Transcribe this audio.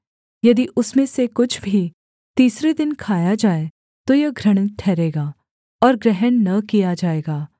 यदि उसमें से कुछ भी तीसरे दिन खाया जाए तो यह घृणित ठहरेगा और ग्रहण न किया जाएगा